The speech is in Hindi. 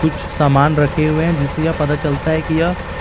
कुछ सामान रखें हुए हैं जिसे यह पता चलता है कि यह--